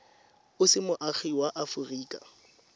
o se moagi wa aforika